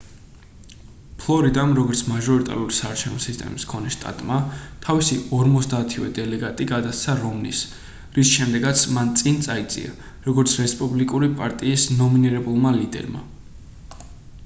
ფლორიდამ როგორც მაჟორიტარული საარჩევნო სისტემის მქონე შტატმა თავისი ორმოცდაათივე დელეგატი გადასცა რომნის რის შედეგადაც მან წინ წაიწია როგორც რესპუბლიკური პარტიის ნომინირებულმა ლიდერმა